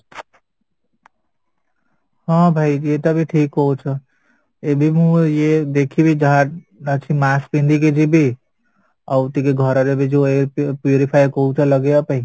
ହଁ ଭାଇ ଏଇଟା ବି ଠିକ କହୁଚ ଏବେ ମୁ ଇଏ ଦେଖିବି ଯାହା ଅଛି mask ପିନ୍ଧିକି ଯିବି ଆଉ ଟିକେ ଘରବି ଯୋଉ air purifier କହୁଛ ଲଗେଇବା ପାଇଁ